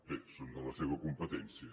bé són de la seva competència